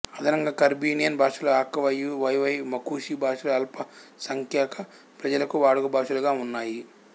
అదనంగా కరీబియన్ భాషలు Akawaio WaiWai Macushi భాషలు అల్పసంఖ్యాక ప్రజలకు వాడుకభాషలుగా ఉన్నాయి